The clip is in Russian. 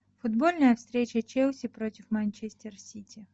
футбольная встреча челси против манчестер сити